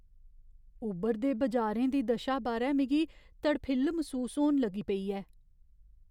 उब्भरदे बजारें दी दशा बारै मिगी तड़फिल्ल मसूस होन लगी पेई ऐ।